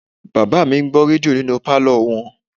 Bàbá mi ń gbọ́ rédíò nínú pálọ̀ wọn